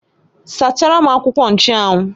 Sachara m akwụkwọ nchụ́anwu!